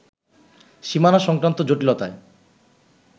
সীমানা সংক্রান্ত জটিলতায়